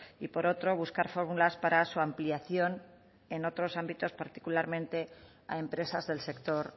y por otro buscar fábulas para su ampliación en otros ámbitos particularmente a empresas del sector